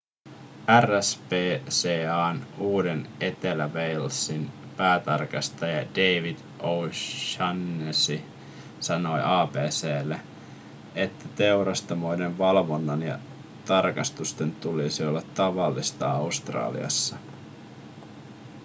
rspca:n uuden-etelä-walesin päätarkastaja david o'shannessy sanoi abc:lle että teurastamoiden valvonnan ja tarkastusten tulisi olla tavallista australiassa